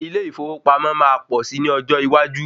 Ilé ìfowópamọ́ máa pọ̀ si ní ọjọ́ iwájú